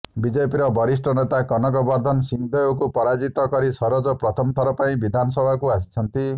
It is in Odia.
ବିଜେପିର ବରିଷ୍ଠ ନେତା କନକ ବର୍ଦ୍ଧନ ସିଂହଦେଓଙ୍କୁ ପରାଜିତ କରି ସରୋଜ ପ୍ରଥମ ଥର ପାଇଁ ବିଧାନସଭାକୁ ଆସିଛନ୍ତି